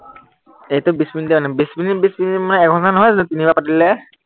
এইটো বিশ মিনিটৰেই হয়। বিশ মিনিট বিশ মিনিট মই এঘন্টা নহয় জানো, তিনিবাৰ পাতিলে।